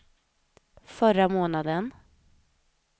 förra månaden